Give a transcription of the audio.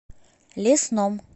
лесном